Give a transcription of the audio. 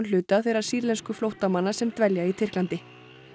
hluta þeirra sýrlensku flóttamanna sem dvelja í Tyrklandi